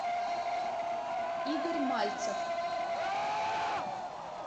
игорь мальцев